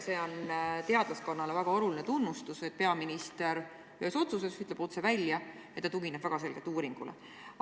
See on teadlaskonnale väga suur tunnustus, et peaminister ühes otsuses ütleb otse välja, et ta tugineb väga selgelt uuringule.